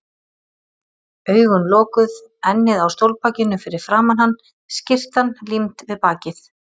Augun lokuð, ennið á stólbakinu fyrir framan hann, skyrtan límd við bakið.